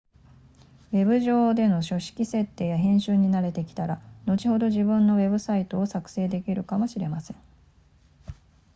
ウェブ上での書式設定や編集に慣れてきたら後ほど自分のウェブサイトを作成できるかもしれません